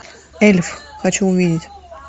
эльф хочу увидеть